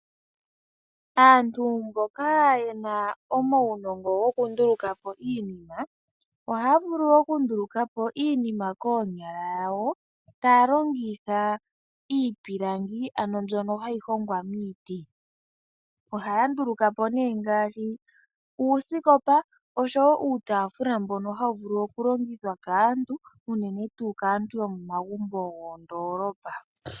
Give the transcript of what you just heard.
Aantu mboka yena omaunongo gokundulukapo iinima ohaya vulu okundulukapo iinima koonyala dhawo . Ohaya longitha iipilangi mbyono hayi hongwa miiti . Ohaya ndulukapo iinima ngaashi uusikopa oshowoo iitaafula mbono hawu longithwa unene kaantu yomoondoolopa.